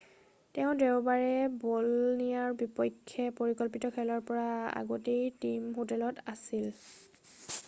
তেওঁ দেওবাৰে বলনিয়াৰ বিপক্ষে পৰিকল্পিত খেলৰ পৰা আগতেই টীম হোটেলত আছিল৷